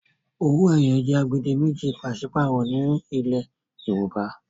owoeye jé agbedemeji paṣipaarọ ní ilè Yorùbá.